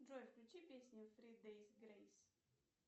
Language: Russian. джой включи песню фри дэйс грейс